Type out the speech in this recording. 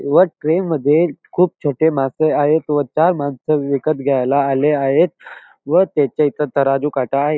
व ट्रे मध्ये खूप छोटे मासे आहेत व चार माणसं विकत घ्यायला आले आहे व तिथे एक तराजू काटा आहे.